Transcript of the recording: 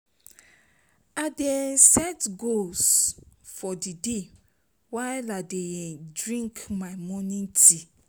I dey set goals for the day while I dey drink my morning tea.